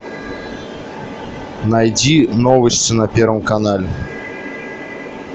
найди новости на первом канале